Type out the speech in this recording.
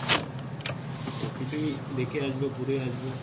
সব কিছুই দেখে আসবো ঘুরে আসবো